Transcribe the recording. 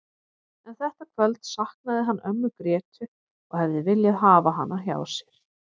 En þetta kvöld saknaði hann ömmu Grétu og hefði viljað hafa hana hjá sér.